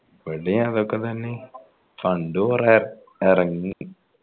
ഇവിടെയും അതൊക്കെ തന്നെ fund കൊറേ എറങ്ങി